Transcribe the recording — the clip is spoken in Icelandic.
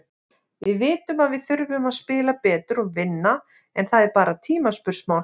Við vitum að við þurfum að spila betur og vinna, en það er bara tímaspursmál.